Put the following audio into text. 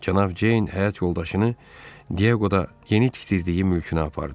Cənab Ceyn həyat yoldaşını Dieqoda yeni tikdirdiyi mülkünə apardı.